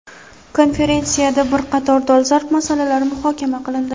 konferensiyada bir qator dolzarb masalalar muhokama qilindi.